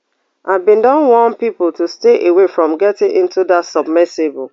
i bin don warn pipo to stay away from getting into dat submersible